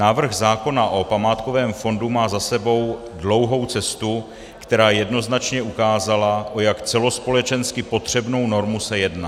Návrh zákona o památkovém fondu má za sebou dlouhou cestu, která jednoznačně ukázala, o jak celospolečensky potřebnou normu se jedná.